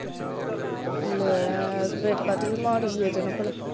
ਲੈ ਫੇਰ ਕਾਤੋਂ ਵੀ ਮਾੜੀ ਇਹਦੇ ਨਾਂ ਭਲਾ।